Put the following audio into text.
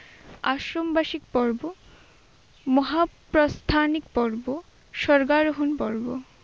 আশ্রমবাসিক পর্ব, মহা- প্রধানিক পর্ব, সরবরাহন পর্ব।